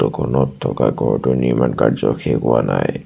খনত থকা ঘৰটোৰ নিৰ্মাণ কাৰ্য্য শেষ হোৱা নাই।